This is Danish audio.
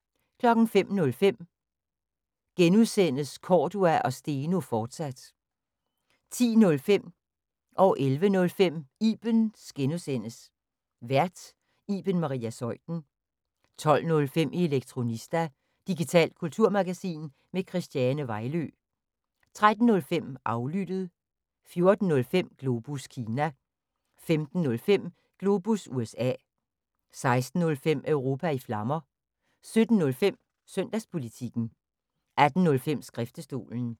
05:05: Cordua & Steno, fortsat (G) 10:05: Ibens (G) Vært: Iben Maria Zeuthen 11:05: Ibens (G) Vært: Iben Maria Zeuthen 12:05: Elektronista – digitalt kulturmagasin med Christiane Vejlø 13:05: Aflyttet 14:05: Globus Kina 15:05: Globus USA 16:05: Europa i Flammer 17:05: Søndagspolitikken 18:05: Skriftestolen